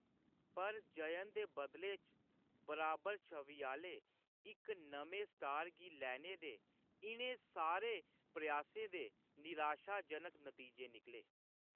पर, जयन दे बदले च बराबर छवि आह्‌‌‌ले इक नमें स्टार गी लैने दे इʼनें सारे प्रयासें दे निराशाजनक नतीजे निकले।